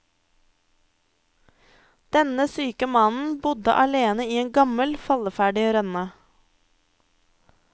Denne syke mannen bodde alene i en gammel, falleferdig rønne.